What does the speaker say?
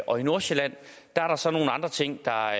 og i nordsjælland er der så nogle andre ting der